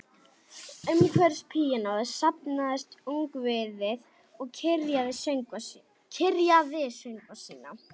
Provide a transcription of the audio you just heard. Umhverfis píanóið safnaðist ungviðið og kyrjaði söngva sína